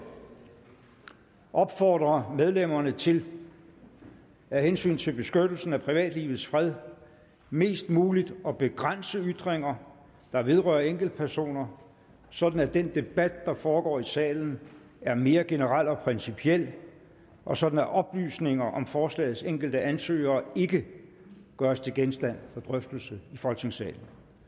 opfordre medlemmerne til af hensyn til beskyttelsen af privatlivets fred mest muligt at begrænse ytringer der vedrører enkeltpersoner sådan at den debat der foregår i salen er mere generel og principiel og sådan at oplysninger om forslagets enkelte ansøgere ikke gøres til genstand for drøftelse i folketingssalen